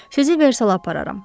Sizi Versala apararam.